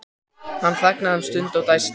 Hann þagnaði um stund og dæsti.